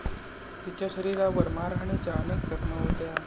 तिच्या शरीरावर मारहाणीच्या अनेक जखमा होत्या.